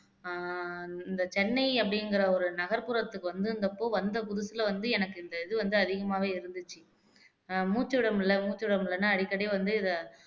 ஆஹ் இந்த சென்னை அப்படிங்கிற ஒரு நகர்புறத்துக்கு வந்திருந்தப்போ வந்த புதுசுல வந்து எனக்கு இந்த இது வந்து அதிகமாவே இருந்துச்சு அஹ் மூச்சு விட முடியலை மூச்சு விட முடியலைன்னா அடிக்கடி வந்து இதை